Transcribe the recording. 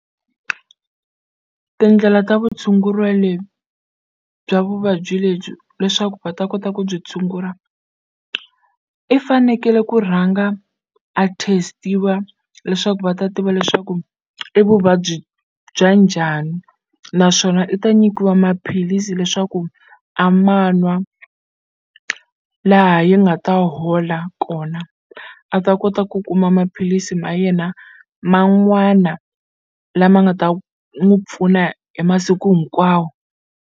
Tindlela ta vutshunguriwa lebyi bya vuvabyi lebyi leswaku va ta kota ku byi tshungula i fanekele ku rhanga a test-iwa leswaku va ta tiva leswaku i vuvabyi bya njhani naswona i ta nyikiwa maphilisi leswaku a ma n'wa laha yi nga ta hola kona a ta kota ku kuma maphilisi ma yena man'wana lama nga ta n'wu pfuna hi masiku hinkwawo.